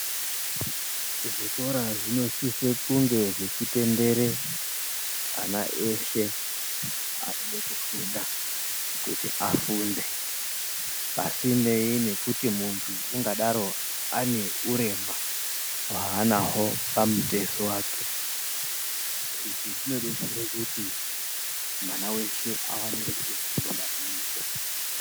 Zvikora zvinosise zvechitendera ana ese anoda kufunda kuti afunde pasineyi nekuti muntu ungadaro aneurema hwaanahwo pamutezo wake izvi zvinodetsera kuti mwana weshe awane kufunda.